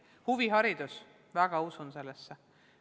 Lisaks huviharidus – ma usun sellesse väga.